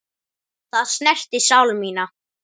Það snertir sál mína.